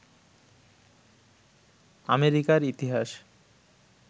আমেরিকার ইতিহাস